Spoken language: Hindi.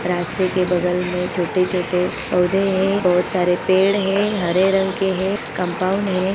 रास्ते के बगल में छोटे-छोटे पौधे हैं बहुत सारे पेड़ हैं हरे रंग के हैं कंपाउंड हैं।